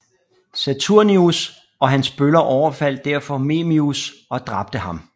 Saturninus og hans bøller overfaldt derfor Memmius og dræbte ham